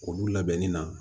Olu labɛnni na